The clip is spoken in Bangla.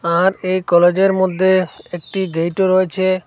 আর এই কলেজের -এর মধ্যে একটি গেটও -ও রয়েছে।